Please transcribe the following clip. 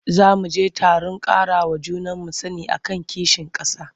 Za mu je taron ƙarawa juna sani a kan kishin ƙasa.